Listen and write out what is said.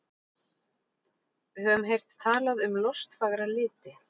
Við höfum heyrt talað um lostfagra liti.